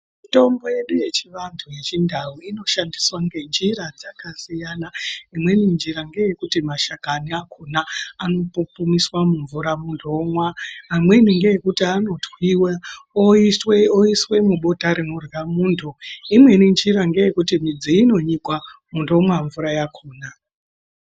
Mitombo yedu yechivantu yechindau inoshandiswa ngenjira dzakasiyana. Imweni njira ngeyekuti mashakani akona anopupumiswa mumvura muntu omwa. Amweni ngeekuti anotwiwe oiswe oiswe mubota rinorya muntu. Imweni njira ngeyekuti midzi inonyikwa muntu omwa mvura yakona.